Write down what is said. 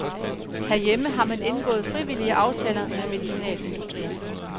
Herhjemme har man indgået frivillige aftaler med medicinalindustrien.